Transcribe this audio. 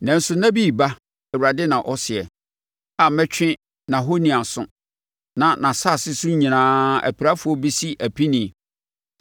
“Nanso nna bi reba,” Awurade na ɔseɛ, “a mɛtwe nʼahoni aso, na nʼasase so nyinaa apirafoɔ bɛsi apinie.